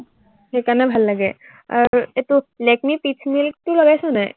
সেই কাৰনে ভাল লাগে। আৰু এইটো লেকমিৰ পিচ মিল্কটো লগাইছ নাই?